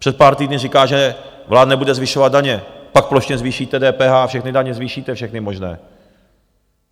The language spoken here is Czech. Před pár týdny říká, že vláda nebude zvyšovat daně, pak plošně zvýšíte DPH, všechny daně zvýšíte, všechny možné.